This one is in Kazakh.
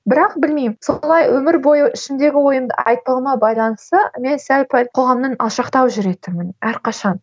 бірақ білмеймін солай өмір бойы ішімдегі ойымды айтпауыма байланысты мен сәл пәл қоғамнан алшақтау жүретінмін әрқашан